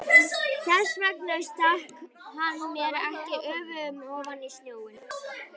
Þess vegna stakk hann mér ekki öfugum ofan í snjóinn.